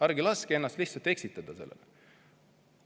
Ärge laske ennast sellega eksitada!